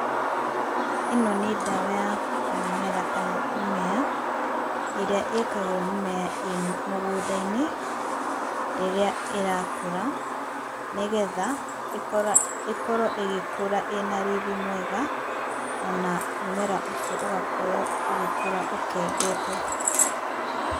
Ĩno nĩ ndawa ya mũmera kana mĩmea, ĩrĩa ĩkagĩrwo mimea ĩ mũgũnda-inĩ rĩrĩa ĩrakũra, nĩ getha ĩkorwo ĩgĩkũra ĩna riri mwega. ona mũmera ũcio ũgakorwo ũgĩkũra ũkengete.